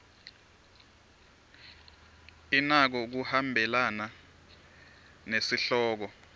inako kuhambelana nesihloko